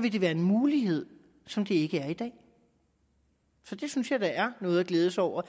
vil det være en mulighed som der ikke er i dag så det synes jeg da er noget at glæde sig over